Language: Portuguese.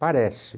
Parece.